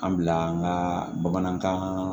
An bila an ka bamanankan